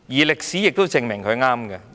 歷史已證明他是正確的。